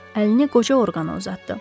Əlini qoca orqana uzatdı.